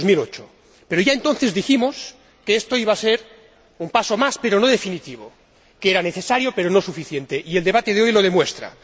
2008. Pero ya entonces dijimos que esto iba a ser un paso más pero no definitivo, que era necesario pero no suficiente, y el debate de hoy lo demuestra.